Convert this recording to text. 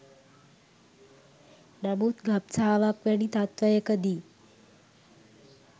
නමුත් ගබ්සාවක් වැනි තත්ත්වයක දී